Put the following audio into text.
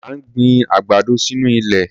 À ń gbin àgbàdo sínú ilẹ̀.